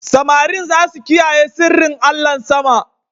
Samarin za su kiyaye sirrin allahn sama.